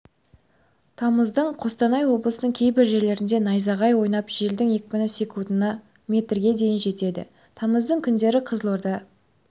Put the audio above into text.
тамыздың қостанай облысының кейбір жерлерінде найзағай ойнап желдің екпіні секундына метрге дейін жетеді тамыздың күндері қызылорда